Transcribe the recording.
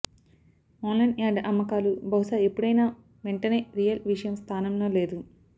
online yard అమ్మకాలు బహుశా ఎప్పుడైనా వెంటనే రియల్ విషయం స్థానంలో లేదు